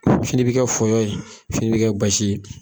Fini bI kɛ fɔyɔ ye ,fini bi kɛ basi ye.